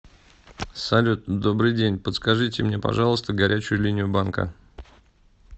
салют добрый день подскажите мне пожалуйста горячую линию банка